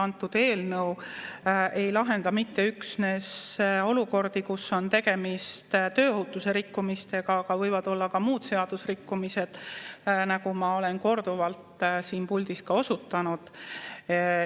Antud eelnõu ei lahenda mitte üksnes olukordi, kus on tegemist tööohutuse rikkumistega, vaid võivad olla ka muud seadusrikkumised, nagu ma olen korduvalt siin puldis ka osutanud.